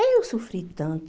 Eu sofri tanto.